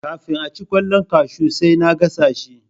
Kafin aci kwallon kashu sai na gasa shi